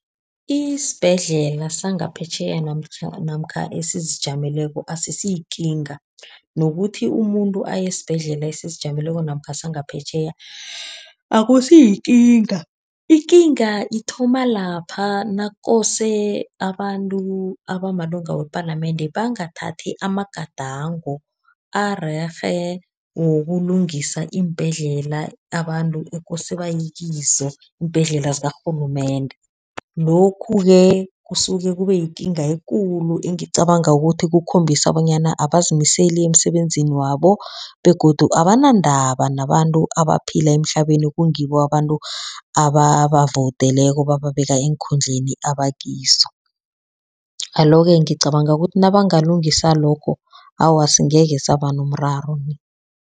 Isibhedlela sangaphetjheya namkha esizijameleko asisiyikinga, nokuthi umuntu aye esibhedlela ezizijameleko namkha sangaphetjheya, akusiyikinga. Ikinga ithoma lapha nakose abantu abamalunga wepalamende bangathathi amagadango arerhe wokulungisa iimbhedlela, abantu ekose banye kizo, iimbhedlela zikarhulumende. Lokhu-ke, kusuke kube yikinga ekulu engicabanga ukuthi kukhombisa bonyana abazimiseli emsebenzini wabo, begodu abanandaba nabantu abaphila emhlabeni, ekungibo abantu ababavoudeleko, bababeka eenkhundleni abakizo. Alo-ke, ngicabanga ukuthi nabangalungisa lokho, awa, singekhe saba nomraro.